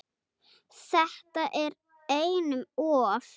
Þetta er einum of